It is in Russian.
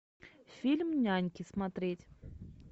фильм няньки смотреть